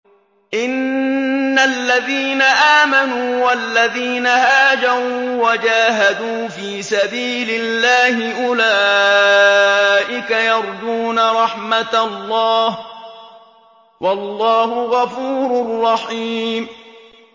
إِنَّ الَّذِينَ آمَنُوا وَالَّذِينَ هَاجَرُوا وَجَاهَدُوا فِي سَبِيلِ اللَّهِ أُولَٰئِكَ يَرْجُونَ رَحْمَتَ اللَّهِ ۚ وَاللَّهُ غَفُورٌ رَّحِيمٌ